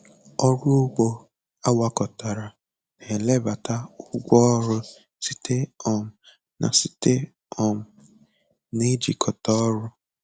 Ọrụ ugbo agwakọtara na-ebelata ụgwọ ọrụ site um na site um na ijikọta ọrụ.